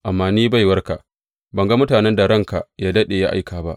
Amma ni baiwarka, ban ga mutanen da ranka yă daɗe ya aika ba.